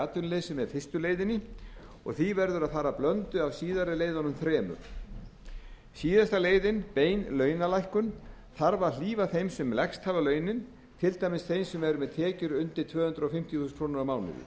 atvinnuleysi með fyrstu leiðinni og því verður að fara blöndu af síðari leiðunum þremur síðasta leiðin bein launalækkun þarf að hlífa þeim sem lægst hafa launin til dæmis þeim sem eru með tekjur undir tvö hundruð fimmtíu þúsund krónur á mánuði það